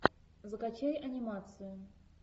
закачай анимацию